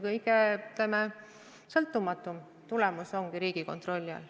Kõige, ütleme, sõltumatum tulemus tulebki Riigikontrolli alt.